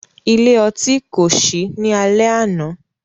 Ile-ọti ko ṣii ni alẹ ana.